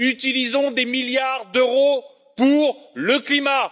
Utilisons des milliards d'euros pour le climat.